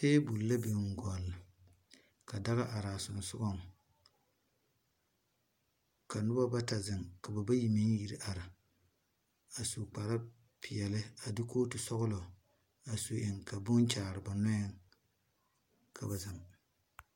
Tabul la bin gul ka daga arẽ a sunsugɔ ka nuba bata zeng ka ba bayi meng iri arẽ a su kpare peɛle a de koɔti sɔglo a su eng bka bunkyaare ba nuɛ ka ba zeng.